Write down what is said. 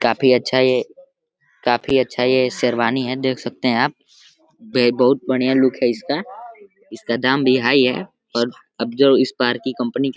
काफ़ी अच्छा है ये काफ़ी अच्छा ये शेरवानी है देख सकते हैं आप बहोत बढ़िया लुक है इसका। इसका दाम भी हाई है और अब जब इस बार की कंपनी क --